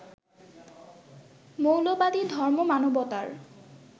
মৌলবাদী ধর্ম মানবতার